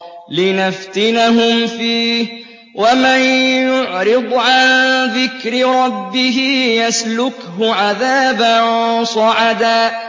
لِّنَفْتِنَهُمْ فِيهِ ۚ وَمَن يُعْرِضْ عَن ذِكْرِ رَبِّهِ يَسْلُكْهُ عَذَابًا صَعَدًا